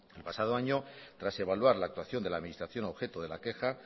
el pasado año tras evaluar la actuación de la administración objeto de la queja